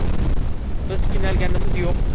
Biz qiynalganimiz yo‘q”.